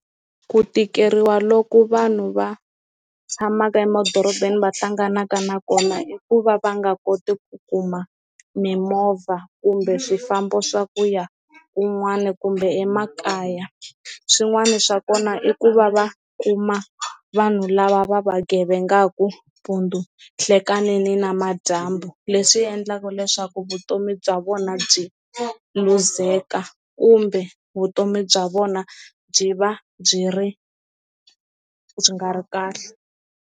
Ku tikeriwa loko vanhu va tshamaka emadorobeni va hlanganaka na kona i ku va va nga koti ku kuma mimovha kumbe swifambo swa ku ya kun'wani kumbe emakaya, swin'wani swa kona i ku va va kuma vanhu lava va va gevengaku mpundzu, nhlekani ni namadyambu leswi endlaka leswaku vutomi bya vona byi luzeka kumbe vutomi bya vona byi va byi ri byi nga ri kahle.